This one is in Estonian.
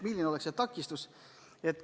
Mis on takistus?